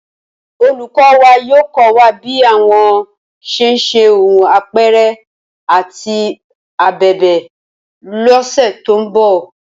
Olùkọ́ wa yóò kọ́ wa bí wọ́n ṣe ń hun apẹ̀rẹ̀ àti abẹ̀bẹ̀ lọ́sẹ̀ tó ń bọ̀